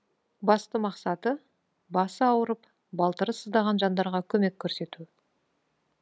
басты мақсаты басы ауырып балтыры сыздаған жандарға көмек көрсету